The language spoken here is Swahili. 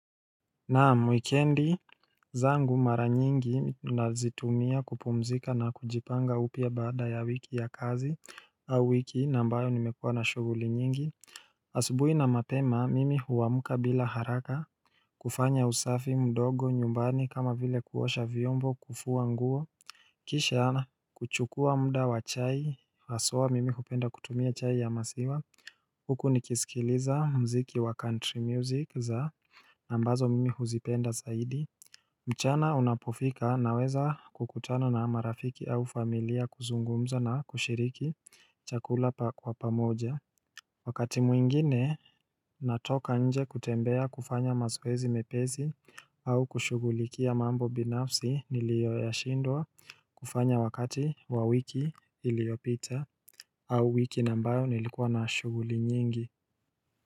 Naam wikendi zangu mara nyingi nazitumia kupumzika na kujipanga upia baada ya wiki ya kazi au wiki naambayo nimekuwa na shuguli nyingi asubuhi na mapema mimi huwamuka bila haraka kufanya usafi mdogo nyumbani kama vile kuosha vyombo kufuwa nguo Kisha na kuchukua muda wa chai haswa mimi hupenda kutumia chai ya masiwa Huku ni kisikiliza mziki wa country music za Nambazo mimi huzipenda zaidi mchana unapofika naweza kukutana na marafiki au familia kuzungumza na kushiriki chakula kwa pamoja Wakati mwingine natoka nje kutembea kufanya mazoezi mepesi au kushugulikia mambo binafsi nilio ya shindwa kufanya wakati wa wiki iliopita au wiki naambayo nilikuwa na shuguli nyingi.